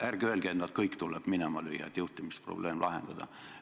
Ja ärge öelge, et nad kõik tuleb minema lüüa, et juhtimisprobleem lahendada.